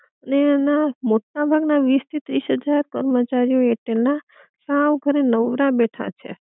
ને એમના મોટા ભાગ ના વીસ થી ત્રીસ હજાર કર્મચારીઓ એરટેલ ના સાવ ઘરે નવરા બેઠા છે